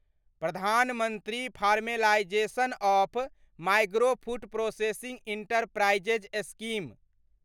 प्रधान मंत्री formalisation of micro food processing enterprises scheme